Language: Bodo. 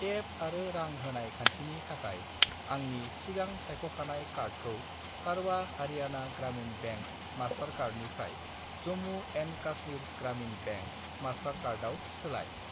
टेप आरो रां होनाय खान्थिनि थाखाय आंनि सिगां सायख'खानाय कार्डखौ सारवा हारियाना ग्रामिन बेंक मास्टारकार्डनिफ्राय जम्मु एन्ड कास्मिर ग्रामिन बेंक मास्टारकार्डआव सोलाय।